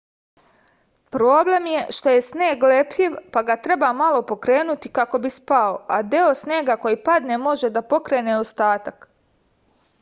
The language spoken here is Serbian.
problem je što je sneg lepljiv pa ga treba malo pokrenuti kako bi spao a deo snega koji padne može da pokrene ostatak